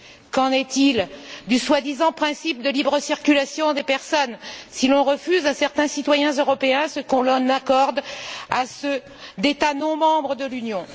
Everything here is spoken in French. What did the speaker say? Qu'en est il du soi disant principe de libre circulation des personnes si l'on refuse à certains citoyens européens ce que l'on accorde à ceux d'États non membres de l'Union?